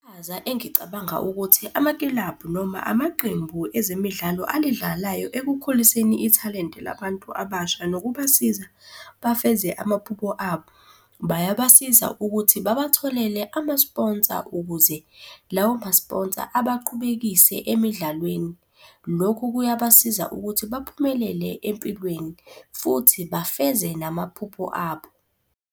Iqhaza engicabanga ukuthi amakilabhu noma amaqembu ezemidlalo alidlalayo ekukhuliseni ithalente labantu abasha nokubasiza bafeze amaphupho abo, bayabasiza ukuthi babatholele amasponsa ukuze lawo masponsa abaqhubekise emidlalweni. Lokhu kuyabasiza ukuthi baphumelele empilweni, futhi bafeze namaphupho abo.